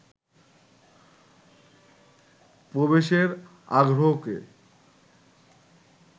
প্রবেশের আগ্রহকে